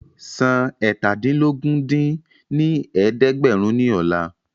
San eétàdínlógún dín ní ẹ̀ẹ́dẹ́gbẹ́rún ní ọ̀la